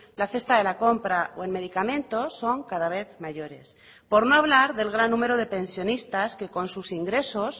la cesta de la compra o en medicamentos son cada vez mayores por no hablar del gran número de pensionistas que con sus ingresos